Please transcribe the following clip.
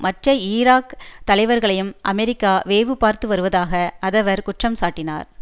மற்ற ஈராக் தலைவர்களையும் அமெரிக்கா வேவு பார்த்து வருவதாக அதவர் குற்றம் சாட்டினார்